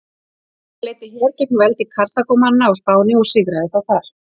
Hann leiddi her gegn veldi Karþagómanna á Spáni og sigraði þá þar.